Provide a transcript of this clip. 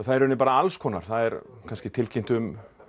er í rauninni bara alls konar það er kannski tilkynnt um